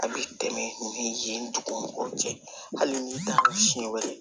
A bɛ tɛmɛ ni yen dugu mɔgɔw cɛ hali ni siɲɛ wɛrɛ ye